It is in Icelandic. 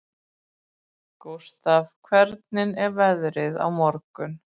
Gústaf, hvernig er veðrið á morgun?